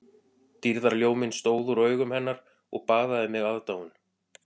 Dýrðarljóminn stóð úr augum hennar og baðaði mig aðdáun